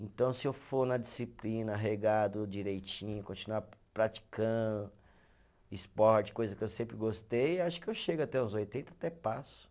Então, se eu for na disciplina, arregado direitinho, continuar praticando esporte, coisa que eu sempre gostei, acho que eu chego até os oitenta, até passo.